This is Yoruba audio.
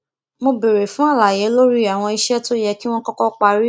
ó béèrè fún àlàyé lórí àwọn iṣẹ tó yẹ kí wọn kọkọ parí